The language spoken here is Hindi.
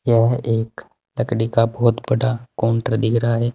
यह एक लकड़ी का बहुत बड़ा काउंटर दिख रहा है।